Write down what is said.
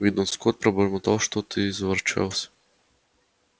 уидон скотт пробормотал что-то и заворочался